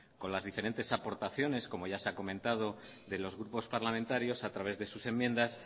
con las diferentes aportaciones como ya se ha comentado de los grupos parlamentarios a través de sus enmiendas